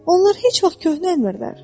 Onlar heç vaxt köhnəlmirlər.